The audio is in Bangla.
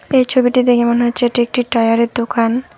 এই ছবিটি দেখে মনে হচ্ছে এটি একটি টায়ারের দোকান।